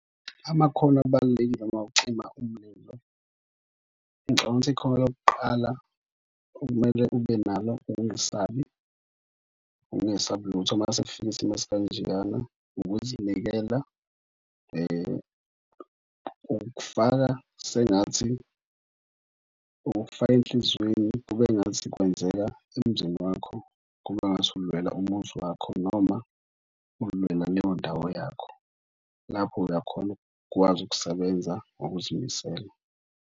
Amakhono abalulekile ma ucima umlilo. Ngicabanga ikhono lokuqala okumele ube nalo, ukungesabi. Ukungesabi lutho, mase kufika isimo esikanjeyana. Ukuzinikela ukufaka sengathi ukukufaka enhliziyweni kube ngathi kwenzeka emzini wakho kube ngathi ulwela umuzi wakho, noma ulwela leyo ndawo yakho, lapho uyakhona ukukwazi ukusebenza ngokuzimisela.